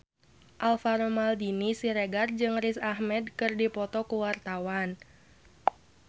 Alvaro Maldini Siregar jeung Riz Ahmed keur dipoto ku wartawan